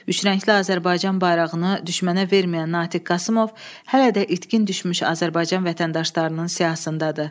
Üçrəngli Azərbaycan bayrağını düşmənə verməyən Natiq Qasımov hələ də itkin düşmüş Azərbaycan vətəndaşlarının siyahısındadır.